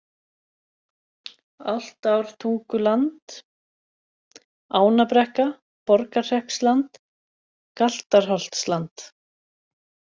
Álftártunguland, Ánabrekka, Borgarhreppsland, Galtarholtsland